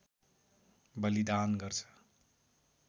बलिदान गर्छ